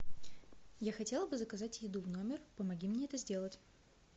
я хотела бы заказать еду в номер помоги мне это сделать